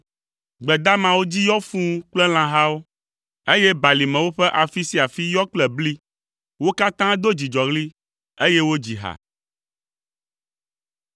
Gbe damawo dzi yɔ fũu kple lãhawo, eye balimewo ƒe afi sia afi yɔ kple bli; wo katã do dzidzɔɣli, eye wodzi ha.